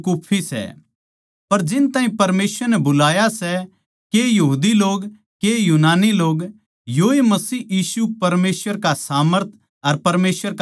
पर जिन ताहीं परमेसवर नै बुलाया सै के यहूदी लोग के यूनानी लोग योए मसीह यीशु परमेसवर का सामर्थ अर परमेसवर का ज्ञान सै